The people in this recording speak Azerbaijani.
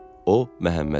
O Məhəmməd idi.